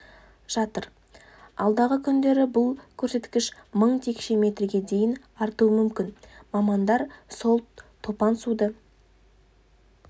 жатыр алдағы күндері бұл көрсеткіш мың текше метрге дейін артуы мүмкін мамандар сол топан суды